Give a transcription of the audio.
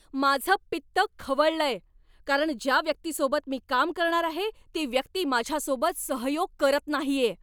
माझं पित्त खवळलंय, कारण ज्या व्यक्तीसोबत मी काम करणार आहे ती व्यक्ती माझ्यासोबत सहयोग करत नाहीये.